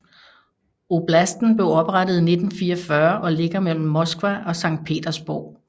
Oblasten blev oprettet i 1944 og ligger mellem Moskva og Sankt Petersborg